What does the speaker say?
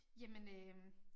Jamen øh